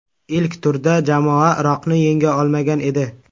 Ilk turda jamoa Iroqni yenga olmagan edi .